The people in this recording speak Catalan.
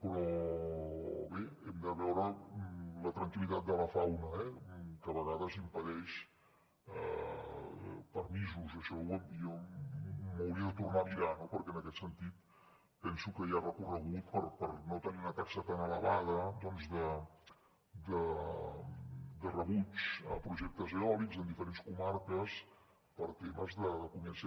però bé hem de veure la tranquil·litat de la fauna que a vegades impedeix permisos i això jo m’ho hauria de tornar a mirar no perquè en aquest sentit penso que hi ha recorregut per no tenir una taxa tan elevada de rebuig a projectes eòlics en diferents comarques per temes de convivència